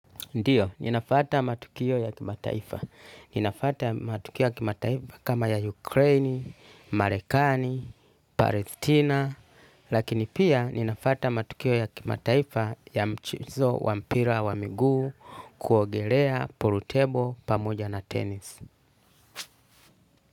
Ndiyo, ninafuata matukio ya kimataifa. Ninafata matukio ya kimataifa kama ya Ukraini, Marekani, Palestina, lakini pia ninafata matukio ya kimataifa ya mchezo wa mpira wa miguu kuogelea pulutebo pamoja na tenis.